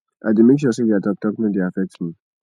i dey make sure sey their talk talk no dey affect me